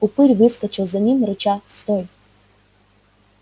упырь выскочил за ним рыча стой